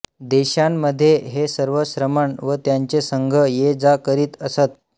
देशांमधे हे सर्व श्रमण व त्यांचे संघ ये जा करीत असत